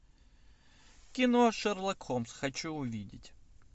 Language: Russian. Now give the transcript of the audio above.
кино шерлок холмс хочу увидеть